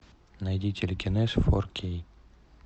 найди телекинез фор кей